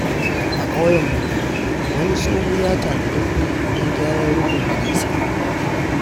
A ƙauyen Madobi, wani tsoho ya tanadi kuɗi don gyaran rufin gidansa.